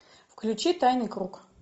включи тайный круг